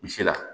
Misi la